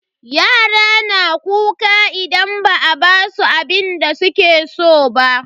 Yara na kuka idan ba a basu abinda suke so ba.